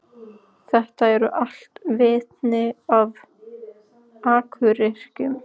Þetta eru allt vitni um akuryrkju.